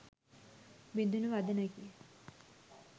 බිඳුනු වදනකි.